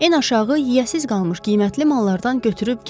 Ən aşağı yeyəsiz qalmış qiymətli mallardan götürüb get.